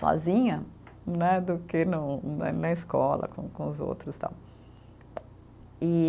Sozinha né, do que no né, na escola com com os outros tal. E